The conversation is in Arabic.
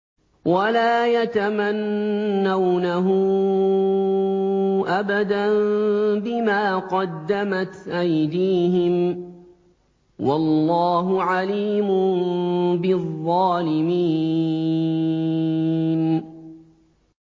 وَلَا يَتَمَنَّوْنَهُ أَبَدًا بِمَا قَدَّمَتْ أَيْدِيهِمْ ۚ وَاللَّهُ عَلِيمٌ بِالظَّالِمِينَ